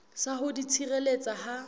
sa ho di tshireletsa ha